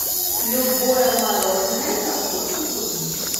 любое мороженое со вкусом клубники